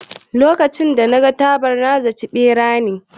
Lokacin da naga jaɓar, na zaci ɓera ne